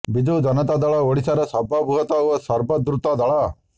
ବିଜୁ ଜନତା ଦଳ ଓଡ଼ିଶାର ସର୍ବବୃହତ୍ ଓ ସର୍ବାଦୃତ ଦଳ